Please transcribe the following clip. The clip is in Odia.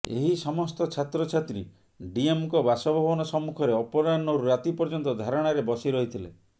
ଏହି ସମସ୍ତ ଛାତ୍ରଛାତ୍ରୀ ଡିଏମଙ୍କ ବାସଭବନ ସମ୍ମୁଖରେ ଅପରାହ୍ନରୁ ରାତି ପର୍ଯ୍ୟନ୍ତ ଧାରଣାରେ ବସିରହିଥିଲେ